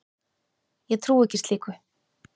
Ég trúi ekki slíku.